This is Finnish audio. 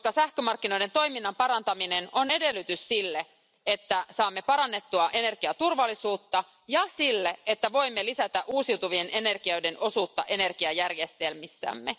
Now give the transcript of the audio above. Koska sähkömarkkinoiden toiminnan parantaminen on edellytys sille, että saamme parannettua energiaturvallisuutta, ja sille, että voimme lisätä uusiutuvien energioiden osuutta energiajärjestelmissämme.